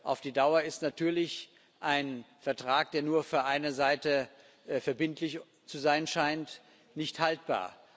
Auf die Dauer ist natürlich ein Vertrag, der nur für eine Seite verbindlich zu sein scheint, nicht haltbar.